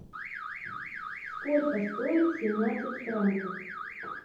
сколько стоит семнадцать франков